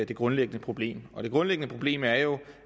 det grundlæggende problem det grundlæggende problem er jo